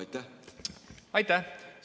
Aitäh!